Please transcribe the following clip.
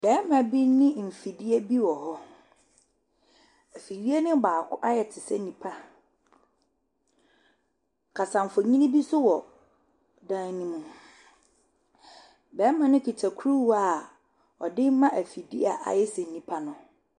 Bɛɛma bi ne mfidie bi wɔ hɔ. Efidie ne baako ayɛ tesɛ nipa. Kasanfonin bi so wɔ dan ne mu. Bɛɛma no kita kuruwa ɔde ma efidie ayɛ sɛ nipa no.